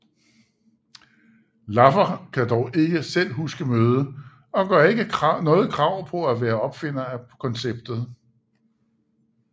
Laffer kan dog ikke selv huske mødet og gør ikke noget krav på at være opfinder af konceptet